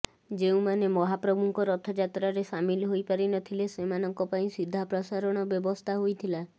ଯେଉଁମାନେ ମହାପ୍ରଭୁଙ୍କ ରଥଯାତ୍ରାରେ ସାମିଲ ହୋଇ ପାରିନଥିଲେ ସେମାନଙ୍କ ପାଇଁ ସିଧାପ୍ରସାରଣ ବ୍ୟବସ୍ଥା ହୋଇଥିଲା